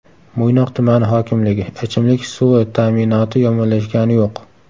Mo‘ynoq tumani hokimligi: Ichimlik suvi ta’minoti yomonlashgani yo‘q.